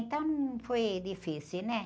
Então não foi difícil, né?